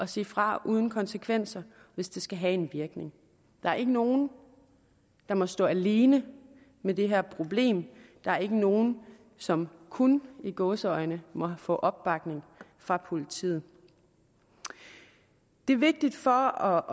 sige fra uden konsekvenser hvis det skal have en virkning der er ikke nogen der må stå alene med det her problem der er ikke nogen som kun i gåseøjne må få opbakning fra politiet det er vigtigt for